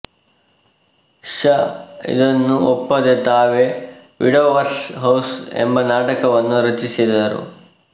ಷಾ ಇದನ್ನು ಒಪ್ಪದೆ ತಾವೇ ವಿಡೋವರ್ಸ್ ಹೌಸ್ ಎಂಬನಾಟಕವನ್ನು ರಚಿಸಿದರು